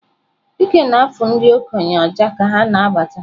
Dike na-afụ ndị okenye ya ọjà ka ha na-abata.